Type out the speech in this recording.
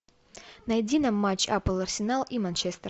найди нам матч апл арсенал и манчестер